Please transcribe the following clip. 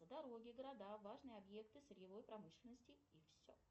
дороги города важные объекты сырьевой промышленности и все